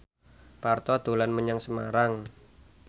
Parto dolan menyang Semarang